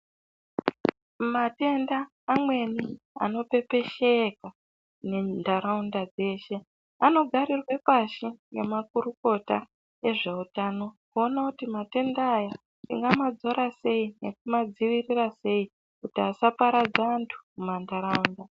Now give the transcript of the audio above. Matenda amweni anopepesheka nharaunda dzeshe anogarirwe pashi ngemakorokota ezveutano kuona kuti matenda aya tingamadzora sei kana kumadziirira sei kuti asaparadza antu mumanharaunda.